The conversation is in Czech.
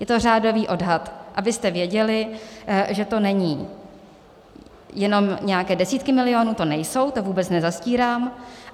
Je to řádový odhad, abyste věděli, že to nejsou jenom nějaké desítky milionů, to nejsou, to vůbec nezastírám.